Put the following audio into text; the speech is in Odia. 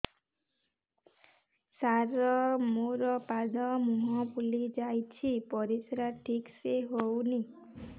ସାର ମୋରୋ ପାଦ ମୁହଁ ଫୁଲିଯାଉଛି ପରିଶ୍ରା ଠିକ ସେ ହଉନି